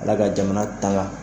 Ala ka jamana tanga.